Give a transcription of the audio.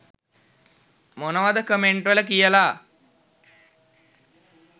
මොනවද කමෙන්ට් වල කියල